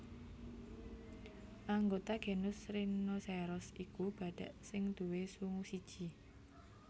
Anggota genus Rhinoceros iku badhak sing duwé sungu siji